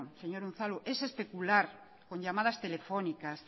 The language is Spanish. señor unzalu es especular con llamadas telefónicas